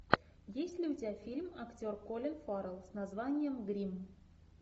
есть ли у тебя фильм актер колин фаррелл с названием гримм